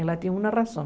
Ela tinha uma razão.